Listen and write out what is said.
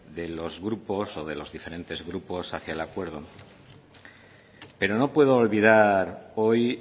de los grupos o de los diferentes grupos hacia el acuerdo pero no puedo olvidar hoy